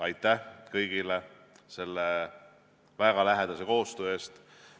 Aitäh kõigile väga lähedase koostöö eest!